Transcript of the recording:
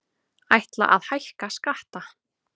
Ætla að hækka skatta